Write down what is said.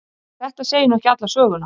En þetta segir nú ekki alla söguna.